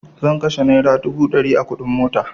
Zan kashe naira dubu ɗari a kuɗin mota